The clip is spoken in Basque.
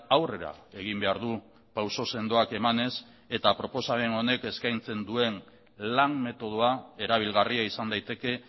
aurrera egin behar du pauso sendoak emanez eta proposamen honek eskaintzen duen lan metodoa erabilgarria izan daiteke